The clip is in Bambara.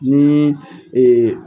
Nin